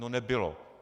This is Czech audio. No, nebylo.